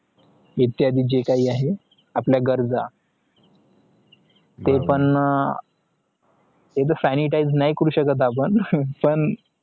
इत्यादी जे काय आहे आपला गरज ते पण एकदा sanitize नाही करू शकत आपण